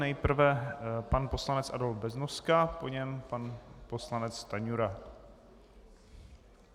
Nejprve pan poslanec Adolf Beznoska, po něm pan poslanec Stanjura.